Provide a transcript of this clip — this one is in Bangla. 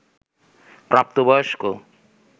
প্রাপ্তবয়স্ক